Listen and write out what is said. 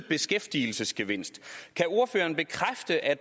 beskæftigelsesgevinst kan ordføreren bekræfte at